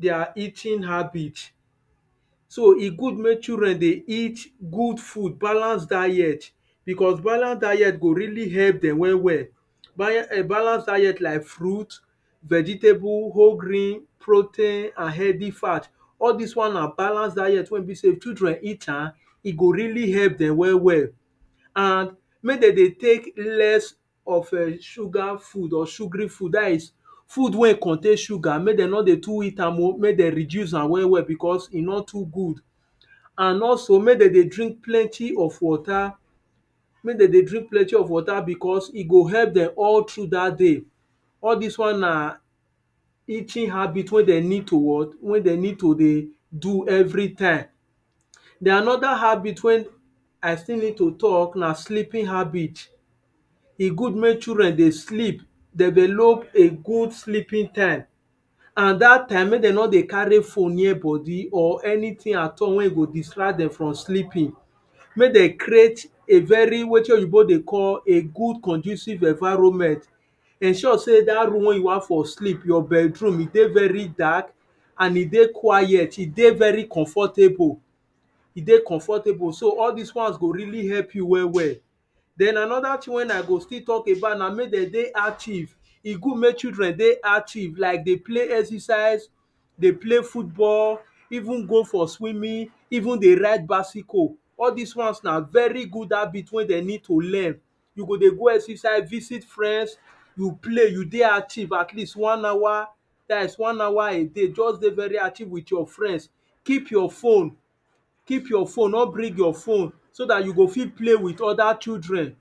their eating habits. E good make children dey eat good food, balanced diet because balanced diet go really help dem well well Balanced diet like fruits vegetables, whole grain, proteins and healthy fats. All these ones na balanced diet wey be sey if children eat am, e go really help dem well well and make dem dey take less of sugar food or sugary food that is food wey contain sugar, make dem no too dey eat am, make dem reduce am well well because e nor too good and also, make dem dey drink plenty of water, make dem dey drink plenty of water because w go help dem all through that day, all this ones na eating habits wey dem need to dey do everytime. Then another habit wey I still need to talk na sleeping habits. E good make children dey sleep, develop a good sleeping time, and that time, make dem no dey carry phone near body or anything at all wey go distract them from sleeping. Make dem create a very, wetin oyibo dey call " good conducive environment", ensure sey that room wey you wan for sleep, your bedroom, e dey very dark, and e dey quiet, e dey very comfortable so all these ones go really help you well well. Then another thing wey I go still talk about na make dem dey active. E good make children dey active like dey play, exercise dey okay football, even go for swimming, even dey ride bicycle, all those ones na very good habits wey dem need to learn You go dey go exercise, visit friends play, you dey active, at least one hour, that is one hour a day, dey very active with your friends, keep your phone no bring your phone, so that you go fit play with other children